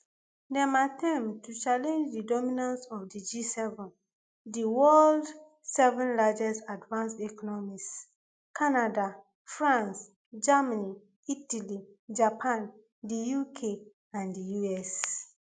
dem attempt to challenge di dominance of di gseven di world seven largest advanced economies canada france germany italy japan di uk and di us